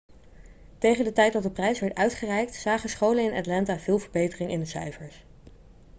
tegen de tijd dat de prijs werd uitgereikt zagen scholen in atlanta veel verbetering in de cijfers